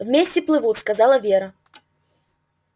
вместе плывут сказала вера